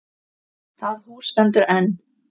Það hús stendur enn.